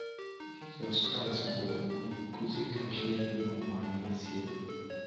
Jisọs Kraịst bụ Onye Nkuzi kacha elu n’ụwa, n’ezie.